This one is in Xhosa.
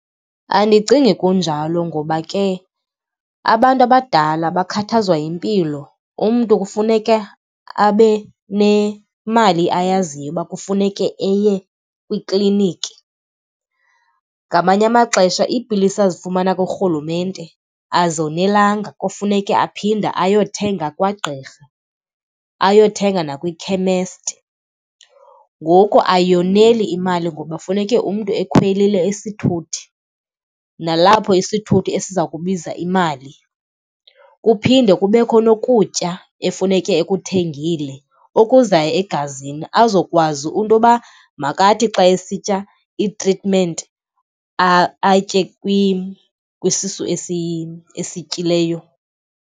Andicingi kunjalo ngoba ke abantu abadala bakhathazwa yimpilo. Umntu kufuneka abe nemali ayaziyo uba kufuneke eye kwikliniki. Ngamanye amaxesha iipilisi azifumana kurhulumente azonelanga, kufuneke aphinde ayothenga kwagqirha, ayothenga nakwikhemesti. Ngoku ayoneli imali ngoba funeke umntu ekhwelile isithuthi, nalapho isithuthi esiza kubiza imali. Kuphinde kubekho nokutya efuneke ekuthengile okuzawuya egazini azokwazi into yoba makathi xa esitya itritimenti atye kwisisu esityileyo.